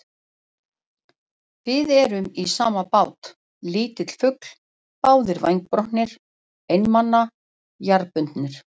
Við erum í sama báti, litli fugl, báðir vængbrotnir, einmana, jarðbundnir.